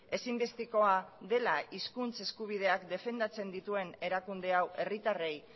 ezinbestekoa dela hizkuntz eskubideak defendatzen dituen erakunde hau herritarrei